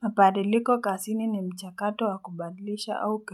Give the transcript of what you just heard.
Mabadiliko kazini ni mchakato wa kubadlisha au